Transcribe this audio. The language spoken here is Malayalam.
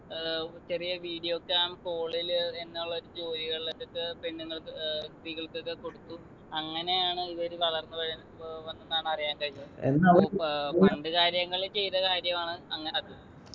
ഏർ ചെറിയ video cam call ല് എന്നുള്ള ഒരു ജോലികളിലൊക്കെക്ക് പെണ്ണുങ്ങൾക്ക് ഏർ സ്ത്രീകൾക്കൊക്കെ കൊടുത്തു അങ്ങനെയാണ് ഇവര് വളർന്ന് വര് ഏർ വന്നുന്നാണ് അറിയാൻ കഴിഞ്ഞത് ഏർ പണ്ടു കാര്യങ്ങള് ചെയ്ത കാര്യമാണ് അങ്ങനത്